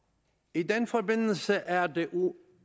i den forbindelse er det